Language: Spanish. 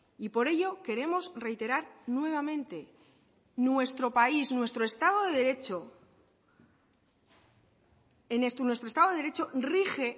por ello queremos reiterar nuevamente que nuestro estado de derecho rige